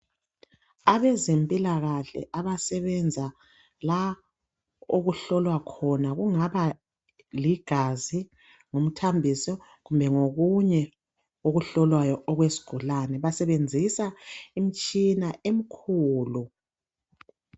Abezempilakahle abasebenza la okuhlolwa khona kungaba ligazi nguthambisi kumbe ngokunye okuhlolwayo okwesigulani basebenzisa imitshina emkhulu